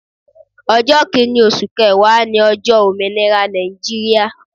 Ọjọ́ kìnì osù kẹẹ̀wá ní ojọ́ Òmìnira Nàìjíríà